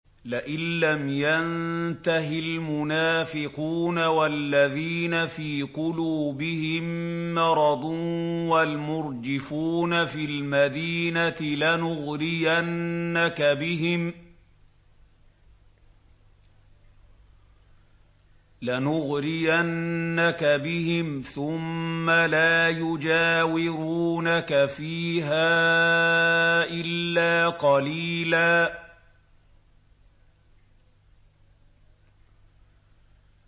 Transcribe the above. ۞ لَّئِن لَّمْ يَنتَهِ الْمُنَافِقُونَ وَالَّذِينَ فِي قُلُوبِهِم مَّرَضٌ وَالْمُرْجِفُونَ فِي الْمَدِينَةِ لَنُغْرِيَنَّكَ بِهِمْ ثُمَّ لَا يُجَاوِرُونَكَ فِيهَا إِلَّا قَلِيلًا